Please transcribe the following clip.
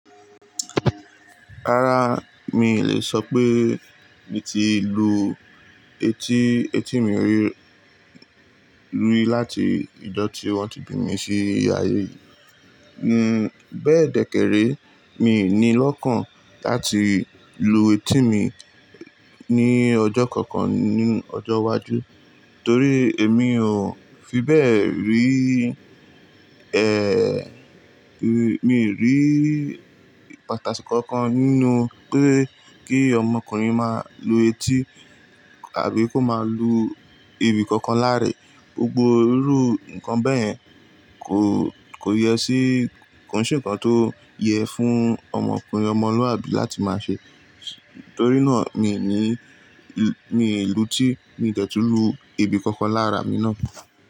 Rárá mi ì lè sọ pé mi ti lu etí, etí mi rí-rí láti ìjọ̀ tí wọ́n ti bí mi sí ayé. N-n bẹ́ẹ̀ dẹ́kẹ́rẹ́ mi ì ní lọ́kàn láti lu etí mi ní ọjọ́ kankan ní ọjọ́ iwájú, torí èmi ò fi bẹ́ẹ̀ rí ẹ. Mi rí pàtàkì kankan nínú pé kí ọmọkùnrin máa lu etí àbí kó máa lu ibi kankan láráẹ. Gbogbo irú nǹkan bẹ́ẹ̀yẹn kò, kò yẹ sí, kò nṣe nǹkan tó yẹ fún ọmọkùnrin ọmọlúàbí láti máa ṣe. Torí náà mi ì ní, mi ì lu etí, mi ò dẹ́tu lú ibi kankan lára mi náà.